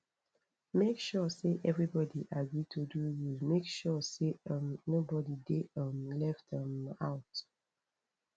make sure say everybody agree to do rules make sure say um nobody de um left um out